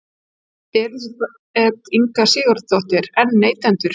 Elísabet Inga Sigurðardóttir: En neytendur?